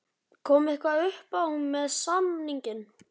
Kom eitthvað uppá með samninginn?